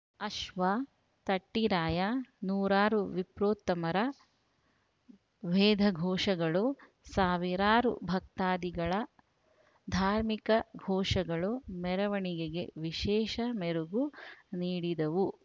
ಅಶ್ವ ತಟ್ಟಿರಾಯ ನೂರಾರು ವಿಪ್ರೋತ್ತಮರ ವೇದಘೋಷಗಳು ಸಾವಿರಾರು ಭಕ್ತಾದಿಗಳ ಧಾರ್ಮಿಕ ಘೋಷಗಳು ಮೆರವಣಿಗೆಗೆ ವಿಶೇಷ ಮೆರುಗು ನೀಡಿದವು